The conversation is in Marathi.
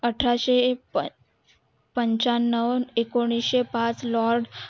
अठराशे पंच्यांव एकोणीशे पाच